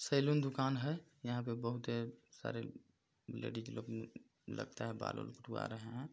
Salon दुकान है यहाँ पे बहुते सारे लेडिस लोग उम्म अम्म लगता है बाल उल कटावा रहे है।